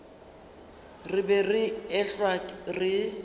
re be re ehlwa re